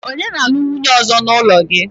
onye na-alu nwunye ozo n'ulo gi?